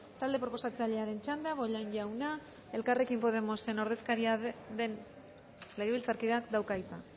talde proposatzailearen txanda bollain jauna elkarrekin podemosen ordezkaria den legebiltzarkideak dauka hitza